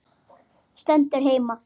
Stendur heima!